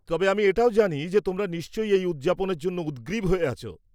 -তবে আমি এটাও জানি যে তোমরা নিশ্চয়ই এই উদযাপনের জন্য উদগ্রীব হয়ে আছো।